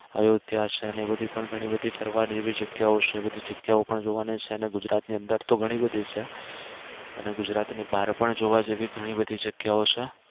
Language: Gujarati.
અયોધ્યા છે ને એ બધી પણ ઘણી બધી ફરવા જેવી જગ્યાઓ છે બધી જગ્યાઓ પણ જોવાની છે ને ગુજરાત ની અંદર તો ઘણી બધી છે અને ગુજરાત ની બહાર પણ જોવા જેવી ઘણી બધી જગ્યાઓ છે